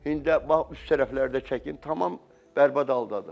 İndi bax, üst tərəflərdə çəkim tamam bərbad haldadır.